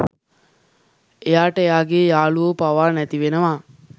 එයාට එයාගේ යාළුවො පවා නැති වෙනවා.